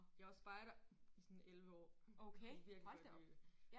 Jeg var spejder i sådan 11 år og kunne virkelig godt lide det